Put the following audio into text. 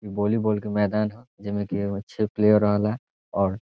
इ वॉलीबॉल के मैदान ह जे में की ए मे छे प्लेयर रहेला और --